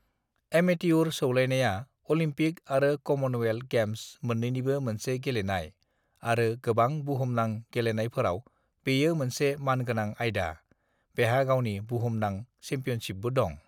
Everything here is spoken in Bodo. एमेतियुर सौलायनाया अलिम्पिक आरो कमनवेल्थ गेम्स मोन्नैनिबो मोनसे गेलेनाय आरो गोबां बुहुमनां गेलेनायफोराव बेयो मोनसे मानगोनां आयदा। बेहा गावनि बुहुमनां चेम्पियनशिपबो दं।